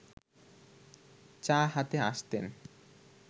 চা হাতে আসতেন